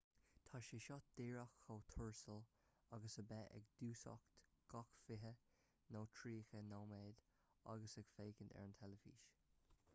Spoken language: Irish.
tá sé seo díreach chomh tuirsiúil agus a bheith ag dúiseacht gach fiche nó tríocha nóiméad agus ag féachaint ar an teilifís